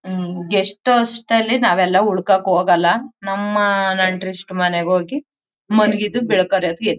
ಉಮ್ಮ್ guest house ನಲ್ಲಿ ನಾವೆಲ್ಲಉಳ್ಕೊಕ್ ಹೋಗಲ್ಲ. ನಮ್ಮ ನೆಂಟರಿಷ್ಟರ ಮನೇಗ್ ಹೋಗಿ ಮಲಗಿದ್ದು ಬೆಳಕ್ ಹರಿಯೋ ಹೊತ್ಗೆ--